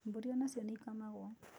Mbũri onacio nĩ ikamagwo